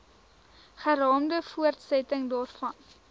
geraamde voortsetting daarvan